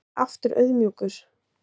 Er aftur auðmjúkur